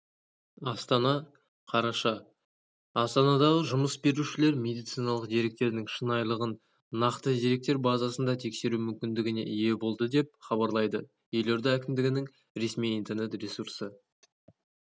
астана қараша астанадағы жұмыс берушілер медициналық деректердің шынайылығын нақты деректер базасында тексеру мүмкіндігіне ие болады деп хабарлайды елорда әкімдігінің ресми интернет-ресурсы